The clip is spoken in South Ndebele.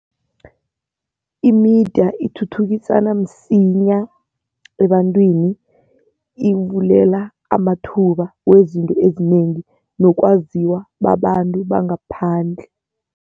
I-media ithuthukisana msinya ebantwini. Ivulela amathuba wezinto ezinengi nokwaziwa babantu bangaphandle.